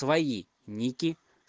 твои ники